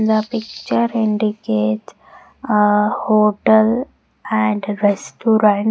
The picture indicates a hotel and restaurant.